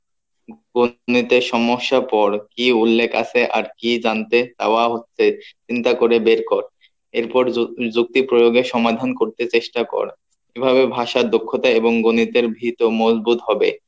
সমস্যা পর কি উল্লেখ আছে আর কি জানতে চাওয়া হচ্ছে চিন্তা করে বের কর এর পর যুক্ত~ যুক্তি প্রয়োগের সমাধান করতে চেষ্টা কর এভাবে ভাষার দক্ষতা এবং গণিতের ভীত ও মূল বোধ হবে